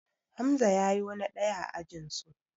Hamza ya yo na ɗaya a ajinsu